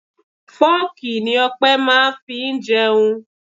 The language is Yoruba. Fooki ni Ọpẹ máa ń fi jẹun.